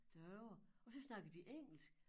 Derovre og så snakker de engelsk